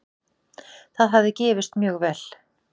Það hafi gefist mjög vel.